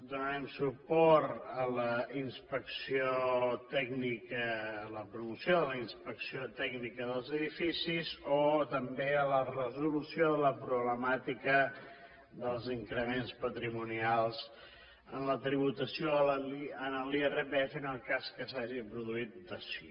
donarem suport a la inspecció tècnica a la promoció de la inspecció tècnica dels edificis o també a la resolució de la problemàtica dels increments patrimonials en la tributació en l’irpf en el cas que s’hagi produït dació